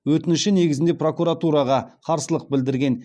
өтініші негізінде прокуратураға қарсылық білдірген